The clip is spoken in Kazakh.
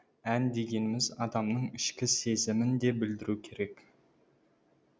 ән дегеніміз адамның ішкі сезімін де білдіруі керек